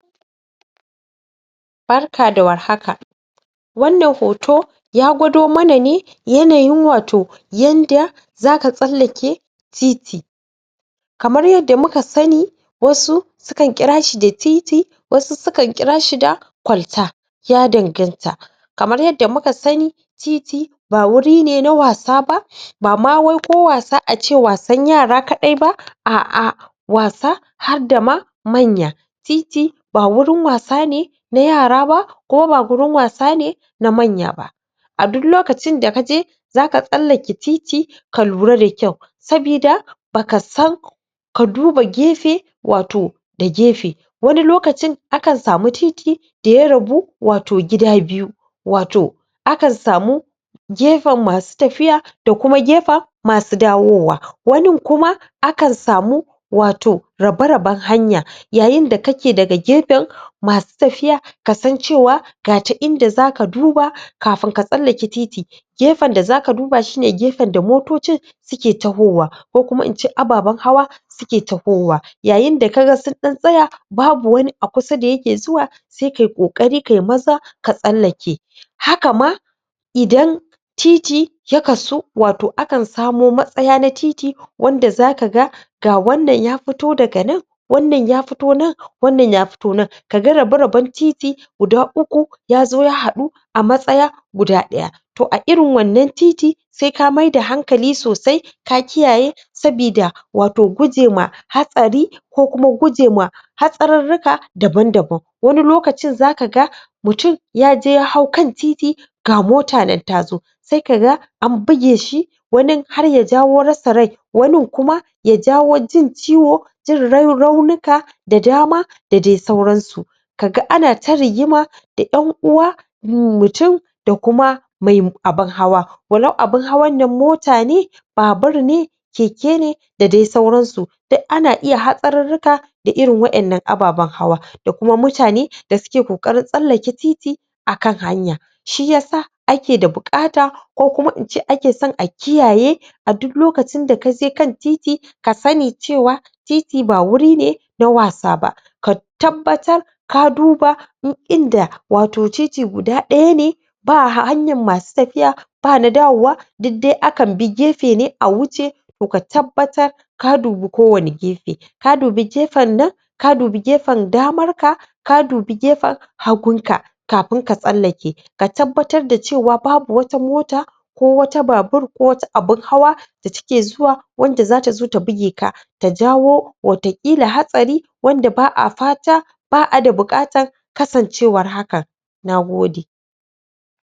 Barka da warhaka wannan hoto ya gwado mana ne yanayin wato yadda zaka tsallake titi kamar yadda muka sani wasu sukan kira shi da titi wasu sukan kira shi da kwalta ya danganta kamar yadda muka sani titi ba wuri ne na wasa ba bama wai ko wasa ace wasan yara kaɗai ba, a'a wasa harda ma manya titi ba wurin wasa ne na yara ba kuma ba wurin wasa ne na manya ba a duk lokacin da kaje zaka tsallake titi ka lura da kyau sabida baka san ka duba gefe wato da gefe wani lokacin akan samu titi da ya rabu wato gida biyu wato akan samu gefen masu tafiya da kuma gefen masu dawowa wani kuam akan samu wato raba-raban hanya yayin da kake da gefen masu tafiya kasan cewa ga ta inda zaka duba kafin ka tsallaka titi gefen da zaka duba, shine gefen da motocin suke tawowa ko kumain ce ababan hawa suke tawowa yayin da kaga sun ɗan tsaya babu wani a kusa da yake zuwa sai kayi ƙoƙari kayi maza ka tsallake haka ma haka ma titi ya kasu, wato akan samo matsaya na tit wanda zaa ga ga wannan ya fito daga nan wannan ya fito nan wannan ya fito nan kaga raba-raban titi guda uku yazo ya haɗu a matsaya guda ɗaya to a irin wannan titi sai ka mai da hankali sosai ka kiyaye sabida wato gujema hatsari ko kuma gujema hatsarirrika daban daban wani lokacin zaka ga mutum yaje ya hau kan titi ga mota nan tazo sai kaga an bige shi wani harya jawo rasa rai wanin kuma ya jawo jin ciwo jin rau raunika da dama da dai sauransu kaga ana ta rigima da 'yan uwa mutum da kuma mai abun hawa walau abin hawan nan mota ne babur ne keke ne da dai suransu duk ana iya hatsarirrika da irin wa'yan nan ababan hawa da kuma mutane da suke ƙoƙarin tsallake titi akan hanya shiyasa ake da buƙata ko kuma in ce ake son a kiyaye a duk lokacin da kaje kan titi ka sani cewa titi ba wuri ne na wasa ba ka tabbatar ka dub in inda wato titi guda ɗaya ne ba ha[um] hanyar masu tafiya ba na dawowa duk dai kan bi gefene dai a wuce to ka tabbatar ka dubi kowanne gefe ka dubi gefen nan ka dubi gefen damar ka ka dubi gefen hagun ka ka fin ka tsallake ka tabbatar da cewa babu wata mota ko wata babur ko wata abin hawa da suke zuwa wanda zata zo ta bige ka ta jawo watakila hatsari wanda ba'a fata ba'a da buƙatar kasancewar hakan nagode